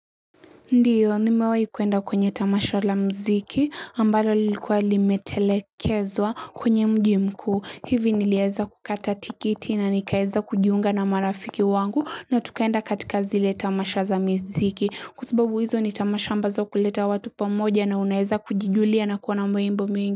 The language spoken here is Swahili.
Ndiyo, nimewahi kuenda kwenye tamasha la mziki, ambalo lilikuwa limetelekezwa kwenye mji mkuu. Hivi niliweza kukata tikiti na nikaweza kujiunga na marafiki wangu na tukaenda katika zile tamasha za mziki. Kwa sababu hizo ni tamasha ambazo huleta watu pamoja na unaweza kujijulia na kuona mambo mingi.